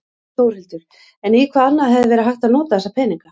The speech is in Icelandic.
Þórhildur: En í hvað annað hefði verið hægt að nota þessa peninga?